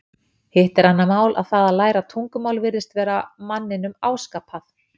Hitt er annað mál að það að læra tungumál virðist vera manninum áskapað.